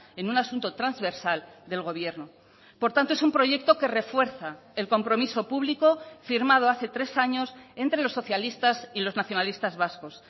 en un asunto transversal del gobierno por tanto es un proyecto que refuerza el compromiso público firmado hace tres años entre los socialistas y los nacionalistas vascos